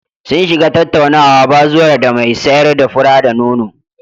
Sun shiga tattaunawa bazuwar da mai sayar da fura-da-nono.